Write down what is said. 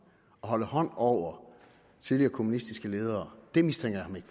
og holde hånden over tidligere kommunistiske ledere mistænker jeg